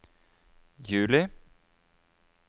juli